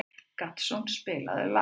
Gaston, spilaðu lag.